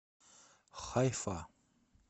хайфа